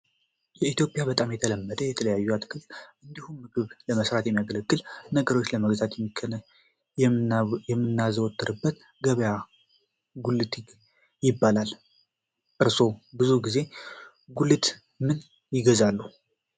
በኢትዮጵያ በጣም የተለመደ እና የተለያዩ አትክልቶችን እንዲሁም ምግብ ለመስራት ሚያገለግሉንን ነገሮች ለመግዛት የምናዘወተርበት ገበያ ጉልት ይባላል። እርሶ ብዙ ጊዜ ጉልት ምን ይገዛሉ?